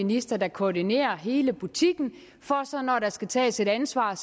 minister der koordinerer hele butikken for så når der skal tages et ansvar